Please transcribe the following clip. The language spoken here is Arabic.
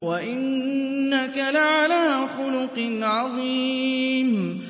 وَإِنَّكَ لَعَلَىٰ خُلُقٍ عَظِيمٍ